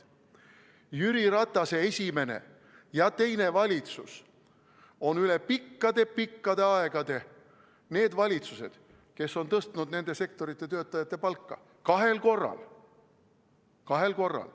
Jüri Ratase esimene ja teine valitsus on üle pikkade-pikkade aegade need valitsused, kes on tõstnud nende sektorite töötajate palka kahel korral.